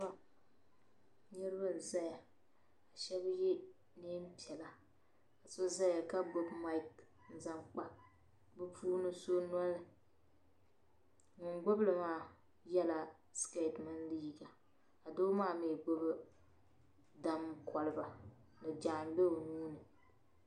Niribi n zaya ka shabi ye neem pɛla ka so zaya ka gbubi maic n zaŋ kpa bi puuni sɔ bɔli ŋun gbubi li maa. yɛla skeeti mini liiga ka doo maa mi gbubi dam koliba ni naan gbee onuuni.